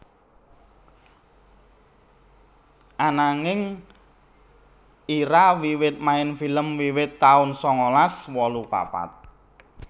Ananging Ira wiwit main film wiwit taun sangalas wolu papat